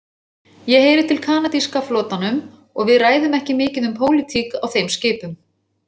Ég heyri til kanadíska flotanum og við ræðum ekki mikið um pólitík á þeim skipum.